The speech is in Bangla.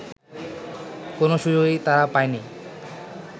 কোনো সুযোগই তারা পায়নি